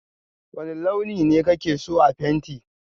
wane launi ne ka ke so a fenti?